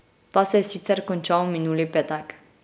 Ta se je sicer končal minuli petek.